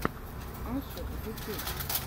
ашер ютюб